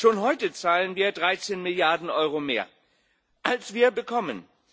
Schon heute zahlen wir 13 Milliarden Euro mehr, als wir bekommen.